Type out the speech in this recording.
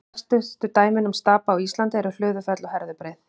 Þekktustu dæmin um stapa á Íslandi eru Hlöðufell og Herðubreið.